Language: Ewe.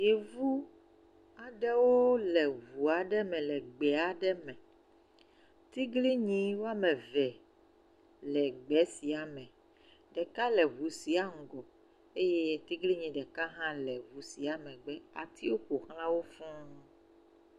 Yevu aɖewo le ɔu aɖe me le gbe aɖe me, tiglinyi woame eve le gbe sia me, ɖeka le ŋu sia ŋgɔ eye tiglinyi ɖeka hã le ŋua sia megbe, atiwo ƒoxlawo sɔŋ.